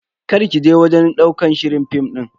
Karki je wajen ɗaukar shirin film din.